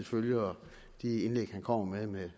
følger de indlæg han kommer med med